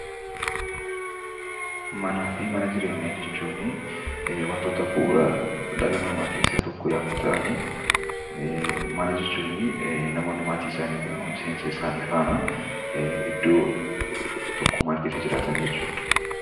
Manaa fi mana jireenyaa jechuun bu'uuraalee jireenya ilma namaa keessaa tokko yoo ta'an mana jechuun namoonni maatii isaanii yookiin miseensa isaanii waliin iddoo tokko tummaan jiraatan jechuudha.